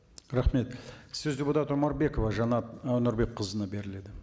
рахмет сөз депутат омарбекова жанат і нұрбекқызына беріледі